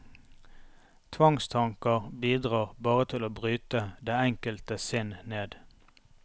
Tvangstanker bidrar bare til å bryte det enkelte sinn ned.